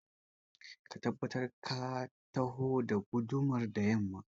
Ka tabbata ka taho da gudumar da yamma